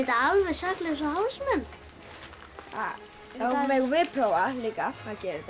alveg saklausa hálsmen þá megum við prófa líka að gera þetta